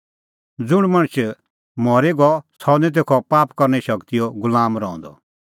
ज़ुंण मणछ मरी गअ सह निं तेखअ पाप करने शगतीओ गुलाम रहंदअ